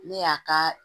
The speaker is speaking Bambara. Ne y'a ka